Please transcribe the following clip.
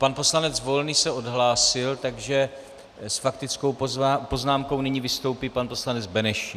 Pan poslanec Volný se odhlásil, takže s faktickou poznámkou nyní vystoupí pan poslanec Benešík.